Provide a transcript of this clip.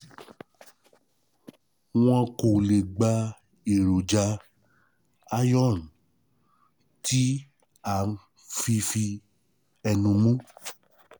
Wọn kò lè gba èròjà iron tí à ń fi fi ẹnu mu